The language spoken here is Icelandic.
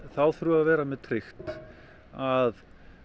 þá þurfum við að vera með tryggt að